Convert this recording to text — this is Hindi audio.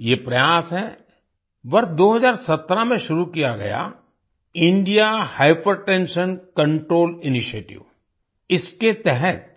ये प्रयास है वर्ष 2017 में शुरू किया गया इंडिया हाइपरटेंशन कंट्रोल इनिशिएटिव इसके तहत